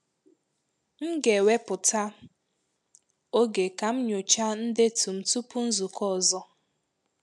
M ga eweputa oge kam nyocha ndetum tụpụ nzukọ ọzọ